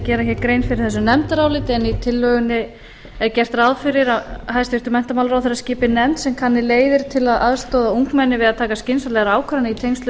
gera hér grein fyrir þessu nefndaráliti en í tillögunni er gert ráð fyrir að hæstvirtur menntamálaráðherra skipi nefnd sem kanni leiðir til að aðstoða ungmenni við að taka skynsamlegar ákvarðanir í tengslum